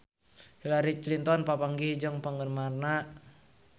Hillary Clinton papanggih jeung penggemarna